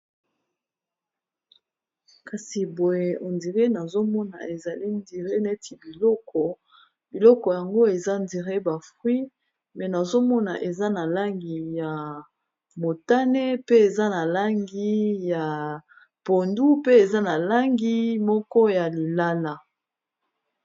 Kasi boye nazomona ezali neti biloko, biloko yango eza neti ba mbuma, Kasi nazomona eza na langi ya motane, pe eza na langi ya pondu, pe eza na langi moko ya lilala.